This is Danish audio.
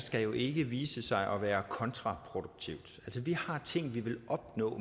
skal jo ikke vise sig at være kontraproduktiv vi har ting vi vil opnå